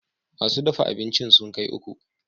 Masu dafa abincin sun kai uku